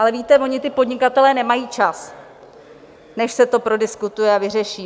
Ale víte, oni ti podnikatelé nemají čas, než se to prodiskutuje a vyřeší.